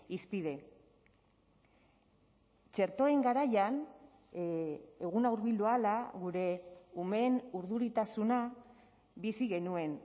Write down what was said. hizpide txertoen garaian eguna hurbildu ahala gure umeen urduritasuna bizi genuen